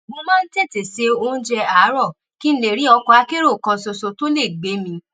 mo máa ń tètè se oúnjẹ àárò kí n lè rí ọkọ akérò kan ṣoṣo tó lè gbé mi